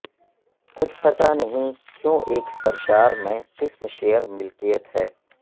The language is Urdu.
کچھ پتہ نہیں کیوں ایک سرشار میں قسم شیئر ملکیت ہے